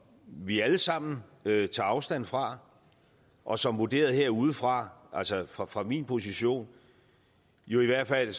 vi alle sammen tager afstand fra og som vurderet herudefra altså fra fra min position og jo i hvert fald